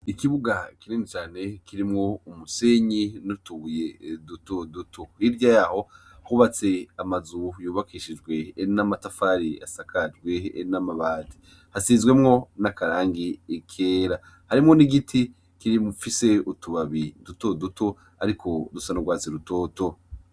ikibuga kinini cane kirimwo umusenyi n'utubuye duto duto rirya yaho hubatse amazu yubakishijwe n'amatafari asakajwe n'amabati hasizwemwo n'akarangi ikera harimo n'igiti kirim fise utubabi duto duto ariko dusa nurwatse rutoto